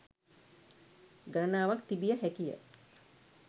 ගණනාවක් තිබිය හැකිය